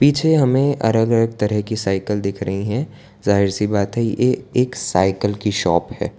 मुझे हमें अलग अलग तरह की साइकिल दिख रही है जाहिर सी बात है ये एक साइकिल की शॉप है।